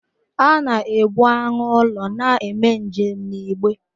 A na ebu anụ ụlọ na-eme njem n'igbe.